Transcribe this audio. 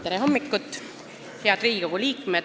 Tere hommikust, head Riigikogu liikmed!